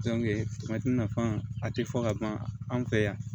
nafa a tɛ fɔ ka ban anw fɛ yan